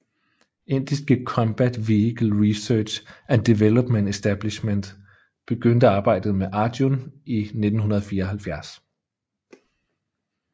Indiske Combat Vehicle Research and Development Establishment begyndte arbejdet med Arjun i 1974